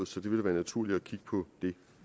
så det ville være naturligt at kigge på det